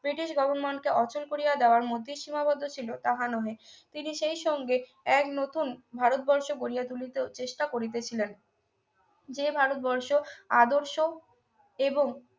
British governor কে অচল করিয়া দেওয়ার মধ্যে সীমাবদ্ধ ছিল নহে তিনি সেই সঙ্গে এক নতুন ভারত বর্ষ গড়িয়া তুলিতে চেষ্টা করিতেছিলেন যে ভারতবর্ষ আদর্শ এবং